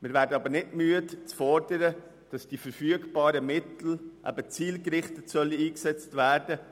Wir werden aber nicht müde zu fordern, dass die verfügbaren Mittel zielgerichtet einzusetzen sind.